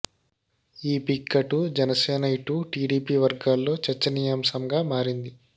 ఈ పిక్ అటు జనసేన ఇటు టిడిపి వర్గ్గాలో చర్చనీయాంశంగా మారింది